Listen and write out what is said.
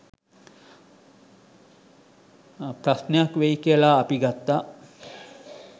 ප්‍රශ්නයක් වෙයි කියලා අපි ගත්තා.